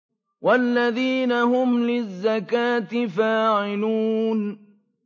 وَالَّذِينَ هُمْ لِلزَّكَاةِ فَاعِلُونَ